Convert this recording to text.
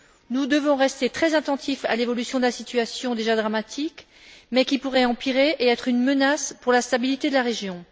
Nous devons rester très attentifs à l'évolution de la situation, déjà dramatique, mais qui pourrait empirer et constituer une menace pour la stabilité de la région.